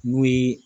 N'o ye